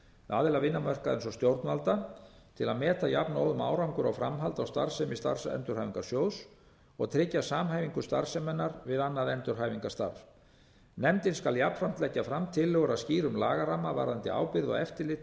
aðila vinnumarkaðarins og stjórnvalda til að meta jafnóðum árangur og framhald á starfsemi starfsendurhæfingarsjóðs og tryggja samhæfingu starfseminnar við annað endurhæfingarstarf nefndin skal jafnframt leggja fram tillögur að skýrum lagaramma varðandi ábyrgð og eftirlit